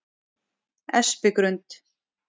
Espigrund